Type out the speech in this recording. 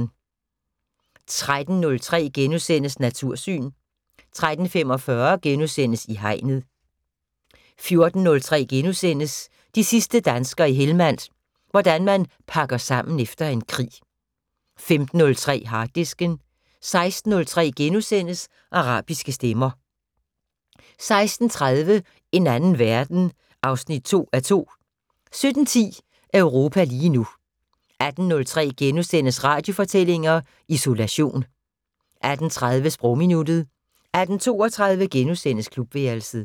13:03: Natursyn * 13:45: I Hegnet * 14:03: De sidste danskere i Helmand - hvordan man pakker sammen efter en krig * 15:03: Harddisken 16:03: Arabiske stemmer * 16:30: En anden verden 2:2 17:10: Europa lige nu 18:03: Radiofortællinger: Isolation * 18:30: Sprogminuttet 18:32: Klubværelset *